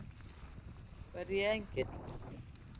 Verð ég engill?